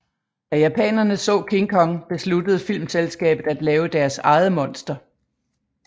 Da japanerne så King Kong besluttede filmselskabet at lave deres eget monster